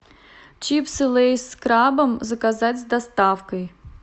чипсы лейс с крабом заказать с доставкой